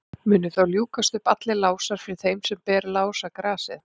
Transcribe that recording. munu þá ljúkast upp allir lásar fyrir þeim sem ber lásagrasið